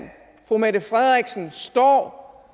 fru mette frederiksen står